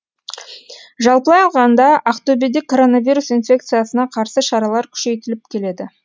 жалпылай алғанда ақтөбеде коронавирус инфекциясына қарсы шаралар күшейтіліп келеді